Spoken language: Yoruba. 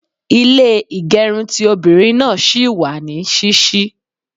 Ilé ìgẹrun ti obìnrin náà ṣì wà ní ṣíṣí.